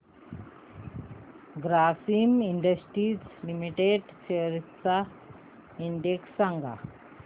Grasim industries limited shares चा index सांगा